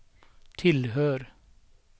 tillhör